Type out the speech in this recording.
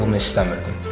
Mən bunu istəmirdim.